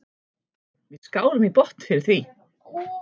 Við skálum í botn fyrir því.